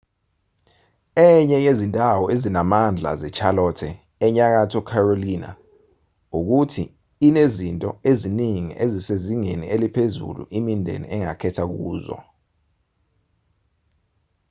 enye yezindawo ezinamandla zecharlotte enyakatho carolina ukuthi inezinto eziningi ezisezingeni eliphezulu imindeni engakhetha kuzo